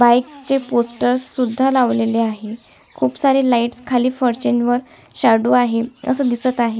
Bike च poster सुद्धा लावलेले आहे खूप सारे लाइटस खाली फरशीन वर शाडो आहे अस दिसत आहे.